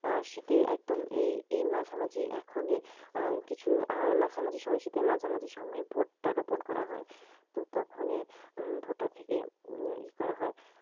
আহ শীতে একদম এই এই মাঝামাঝি এখনি আহ কিছু আহ মাঝামাঝি সময় শীতের মাঝামাঝি সময় ভুট্টা রোপন করা হয়। তো তখনই উম ভুট্টা উম থেকে ই করা হয়।